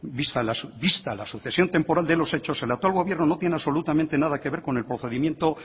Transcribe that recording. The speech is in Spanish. vista la sucesión temporal de los hechos el actual gobierno no tiene absolutamente nada que ver con el procedimiento